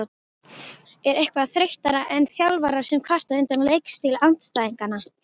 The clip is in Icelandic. Er eitthvað þreyttara en þjálfarar sem kvarta undan leikstíl andstæðinganna?